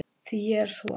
Því ég er svo